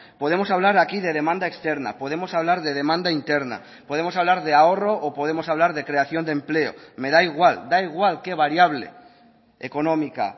podemos hablar aquí de demanda externa podemos hablar de demanda interna podemos hablar de ahorro o podemos hablar de creación de empleo me da igual da igual qué variable económica